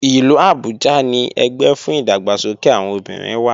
Ìlú Abuja ni ẹgbẹ́ fún ìdàgbàsókè àwọn obìnrin wà